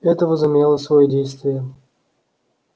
это возымело своё действие